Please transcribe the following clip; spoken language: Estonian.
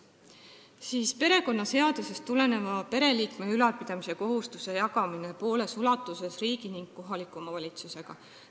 Siis on ettepanek perekonnaseadusest tulenev pereliikme ülalpidamise kohustus jagada pooles ulatuses riigi ning kohaliku omavalitsusega.